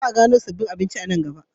Za a gano sabbin abinci a nan gaba.